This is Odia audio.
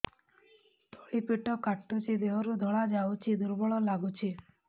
ତଳି ପେଟ କାଟୁଚି ଦେହରୁ ଧଳା ଯାଉଛି ଦୁର୍ବଳ ଲାଗୁଛି